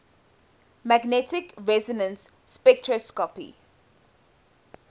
magnetic resonance spectroscopy